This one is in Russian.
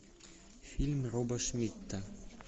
фильм роба шмидта